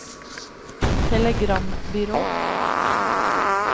telegrambyrå